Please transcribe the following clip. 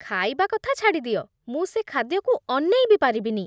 ଖାଇବା କଥା ଛାଡ଼ିଦିଅ, ମୁଁ ସେ ଖାଦ୍ୟକୁ ଅନେଇ ବି ପାରିବିନି।